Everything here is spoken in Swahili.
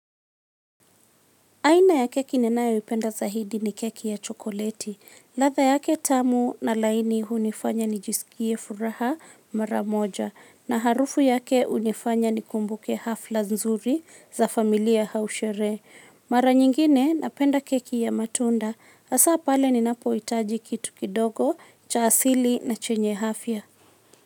Aina ya keki ninayoipenda zaidi ni keki ya chokoleti. Ladha yake tamu na laini hunifanya nijisikie furaha mara moja. Na harufu yake hunifanya nikumbuke hafla nzuri za familia au sherehe. Mara nyingine napenda keki ya matunda. Hasa pale ninapohitaji kitu kidogo cha asili na chenye afya.